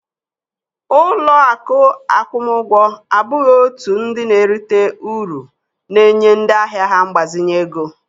Ụlọ akụ akwụmụgwọ abụghị òtù ndị na-erite uru na-enye ndị ahịa ha mgbazinye ego